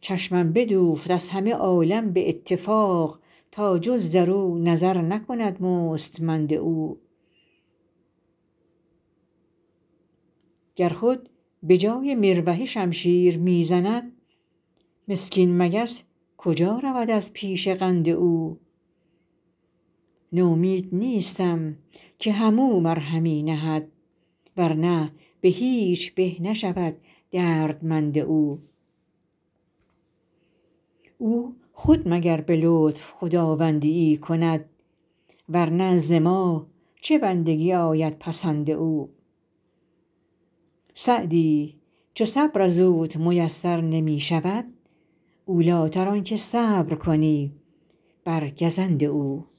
چشمم بدوخت از همه عالم به اتفاق تا جز در او نظر نکند مستمند او گر خود به جای مروحه شمشیر می زند مسکین مگس کجا رود از پیش قند او نومید نیستم که هم او مرهمی نهد ور نه به هیچ به نشود دردمند او او خود مگر به لطف خداوندی ای کند ور نه ز ما چه بندگی آید پسند او سعدی چو صبر از اوت میسر نمی شود اولی تر آن که صبر کنی بر گزند او